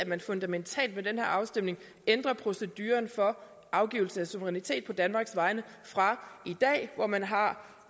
at man fundamentalt ved den her afstemning ændrer proceduren for afgivelse af suverænitet på danmarks vegne fra i dag hvor man har